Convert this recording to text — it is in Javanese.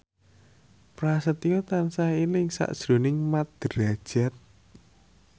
Prasetyo tansah eling sakjroning Mat Drajat